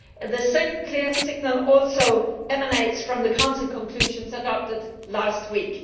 The same clear signal also emanates from the Council conclusions adopted last week.